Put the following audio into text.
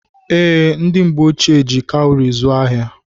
Ee, ndị mgbe ochie jị cawuri zụọ ahịa.